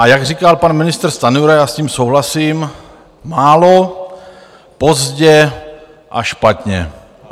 A jak říkal pan ministr Stanjura, já s tím souhlasím, málo, pozdě a špatně.